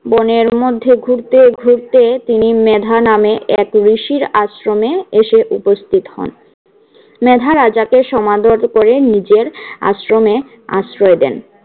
বনের মধ্যে ঘুরতে ঘুরতে তিনি মেধা নামে এক ঋষির আশ্রমে এসে উপস্থিত হন। মেধা রাজাকে সমাদর করে নিজের আশ্রমে আশ্রয় দেন।